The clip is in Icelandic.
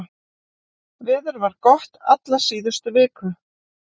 Veður var gott alla síðustu viku